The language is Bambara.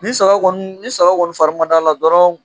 Ni saga kɔni ni saba kɔni farimandala dɔrɔn.